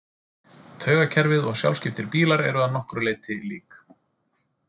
Taugakerfið og sjálfskiptir bílar eru að nokkru leyti lík.